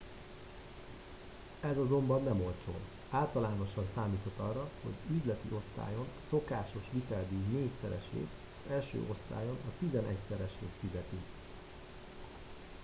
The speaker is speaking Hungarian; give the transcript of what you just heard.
ez azonban nem olcsó általánosan számíthat arra hogy üzleti osztályon a szokásos viteldíj négyszeresét az első osztályon a tizenegyszeresét fizeti